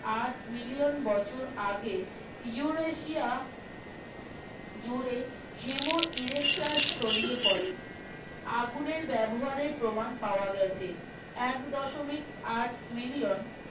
আট মিলিয়ন বছর আগে উরেশিয়া জুড়ে হেমো ছড়িয়ে পড়ে আগুনের ব্যবহারের প্রমান পাওয়া গেছে এক দশমিক আট মিলিয়ন